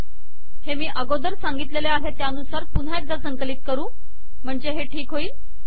हे मी अगोदर सांगितलेले आहे त्यानुसार पुन्हा एकदा संकलित करू म्हणजे हे ठीक होईल